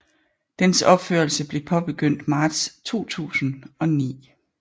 Dens opførelse blev påbegyndt marts 2009